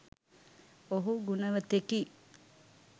ඔහු ගුණවතෙකි.